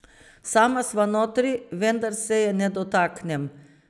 Sama sva notri, vendar se je ne dotaknem.